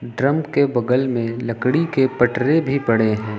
Drum के बगल में लकड़ी के पटरे भी पड़े है।